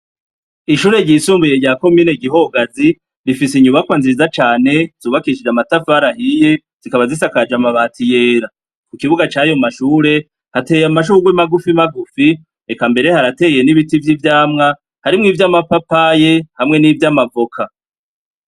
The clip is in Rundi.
Ishure ryisumbuye ryako miene gihogazi rifise inyubakwa nziza cane zubakishije amatafarahiye zikaba zisakaje amabati yera ku kibuga cayo mashure hateye amashurwi magufi magufi reka mbere harateye n'ibiti vy'ivyamwa harimwo ivyo amapapaye hamwe n'ivyo amavoka.